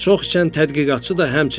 Çox içən tədqiqatçı da həmçinin.